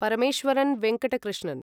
Parameswaran Venkata Krishnan